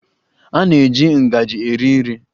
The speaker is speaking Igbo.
A na-eji ngaji eri nri.